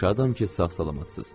Şadam ki, sağ-salamatsız.